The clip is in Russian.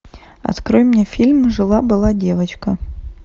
открой мне фильм жила была девочка